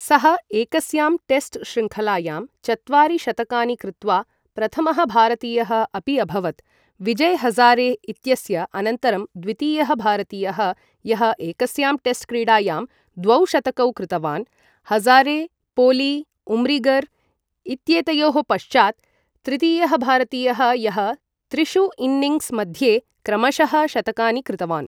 सः एकस्यां टेस्ट् श्रृङ्खलायां चत्वारि शतकानि कृत्वा प्रथमः भारतीयः अपि अभवत्, विजय् हज़ारे इत्यस्य अनन्तरं द्वितीयः भारतीयः यः एकस्यां टेस्ट् क्रीडायां द्वौ शतकौ कृतवान् , हजारे, पोली उम्रिगर् इत्येतयोः पश्चात् तृतीयः भारतीयः यः त्रिषु इन्निङ्ग्स् मध्ये क्रमशः शतकानि कृतवान्।